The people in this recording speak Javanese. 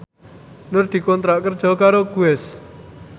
Nur dikontrak kerja karo Guess